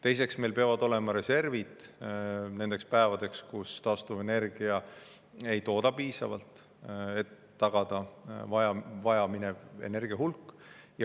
Teiseks, meil peavad olema reservid nendeks päevadeks, kui taastuvenergia ei tooda piisavalt, et tagada vaja minev energia hulk.